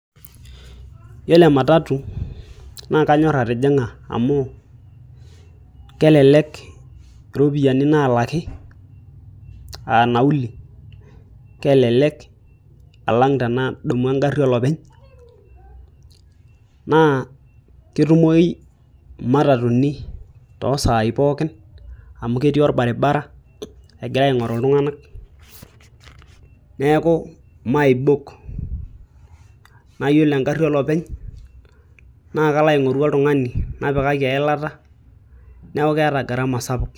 Yiolo ematatu naakanyor atijing'a amu kelelek iropiyiani naalaki aaa nauli kelelek alang tenadumu engari olopeny naa ketumoyu imatatuni toosai pookin amu ketii orbaribara egira aing'oru iltung'anak neeku maibok naayiolo engari olopeny naakalo aing'oru oltung'ani napikaki Eilata neeku keeta Garama sapuk.